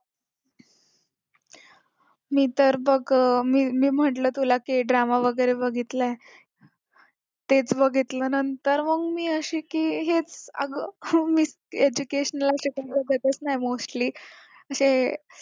मी तर बघ मी म्हटलं तुला की drama वगैरे बघितलाय तेच बघितल्यानंतर मग मी अशी की हेच अग educational ते तर बघतच नाही mostly जे